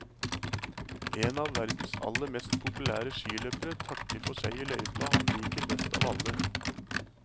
En av verdens aller mest populære skiløpere takker for seg i løypa han liker best av alle.